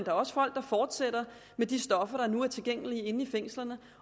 er også folk der fortsætter med de stoffer der nu er tilgængelige i fængslerne